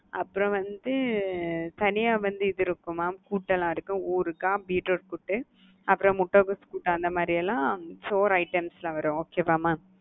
அப்புறம் வந்து தனியா வந்து இது இருக்கும் mam கூட்டுலாம் இருக்கு. ஊறுகாய், பீட்ரூட் கூட்டு அப்புறம் முட்டகோசு கூட்டு அந்த மாறியலாம் சோறு itmes ல வரும் okay வா mam?